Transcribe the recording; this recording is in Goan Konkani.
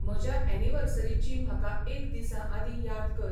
म्हज्या ऐनीवर्सरीची म्हाका एक दिसा आदीं याद कर